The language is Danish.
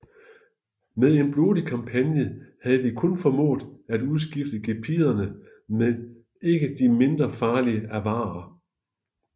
Med en blodig kampagne havde de kun formået at udskifte gepiderne med de ikke mindre farlige avarere